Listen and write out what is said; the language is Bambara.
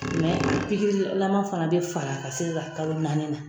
Mɛ pikirilama fana bɛ fara ka se ka kalo naani na .